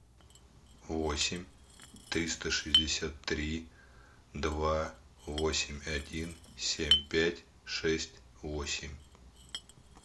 восемь триста шестьдесят три два восемь один семь пять шесть восемь